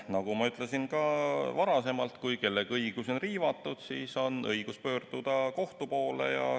Nagu ma varemgi ütlesin, kui kellegi õigusi on riivatud, on tal õigus pöörduda kohtu poole.